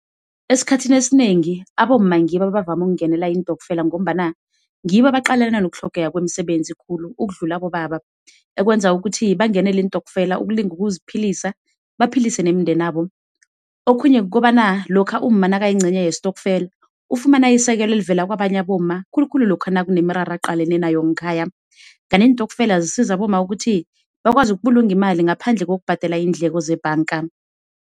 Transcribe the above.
Esikhathini ezinengi abomma ngibo abavame ukungenela intokfela ngombana ngibo baqalene nokutlhogeka kwemisebenzi khulu ukudlula abobaba ekwenza ukuthi bangenele iintokfela ukulinga ukuziphilisa baphilise nemindenabo. Okhunye kukobana lokha umma nakayincenye yestokfela, ufumana isekelo elivela kwabanye abomma, khulu khulu lokha nakunemiraro aqalene nayo ngekhaya. Kanti iintokfela zisiza abomma ukuthi bakwazi ukubulunga imali ngaphandle kokubhadela iindleko zebhanga.